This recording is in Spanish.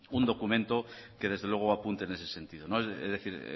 un documento que desde luego apunte en ese sentido es decir